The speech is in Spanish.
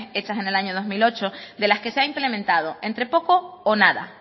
hechas en el año dos mil ocho de las que se ha implementado entre poco o nada